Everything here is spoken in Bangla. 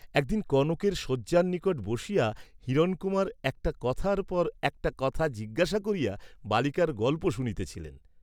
একদিন কনকের শয্যার নিকট বসিয়া হিরণকুমার একটা কথার পর একটা কথা জিজ্ঞাসা করিয়া বালিকার গল্প শুনিতেছিলেন।